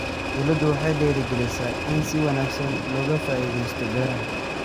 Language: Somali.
Dawladdu waxay dhiirigelinaysaa in si wanaagsan looga faa'iidaysto beeraha.